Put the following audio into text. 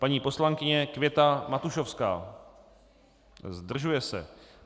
Paní poslankyně Květa Matušovská: Zdržuje se.